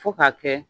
Fo ka kɛ